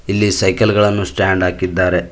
ಇಲ್ಲಿ ಸೈಕಲ್ ಗಳನ್ನು ಸ್ಟ್ಯಾಂಡ್ ಹಾಕಿದ್ದಾರೆ.